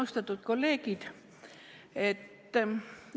Austatud kolleegid!